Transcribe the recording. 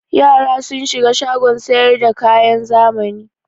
Yara sun shiga shagon sayar da kayan zamani.